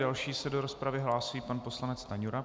Další se do rozpravy hlásí pan poslanec Stanjura.